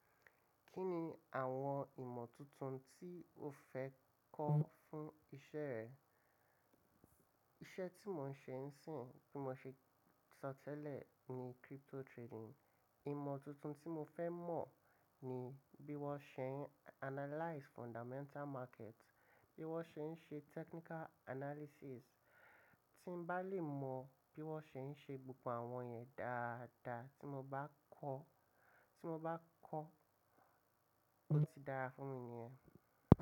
Kí ni àwọn ìmọ̀ tuntun tí o fẹ́ kọ́ fún iṣẹ́ rẹ? Iṣẹ́ tí mo ń ṣe ń sìn, bí mo ṣe sọ tẹ́lẹ̀ ni crypto trading. Ìmọ̀ tuntun tí mo fẹ́ mọ̀ ni bí wọ́n ṣe ń analyze fundamental market, bí wọ́n ṣe ń ṣe technical analysis. Tí bá lè mọ bí wọ́n ṣe ń ṣe gbogbo àwọn yẹn dáadáa tí mo bá kọ́, tí mo bá kọ́, ó ti dára fún mi niyẹn.